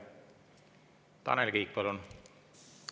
Tanel Kiik, palun!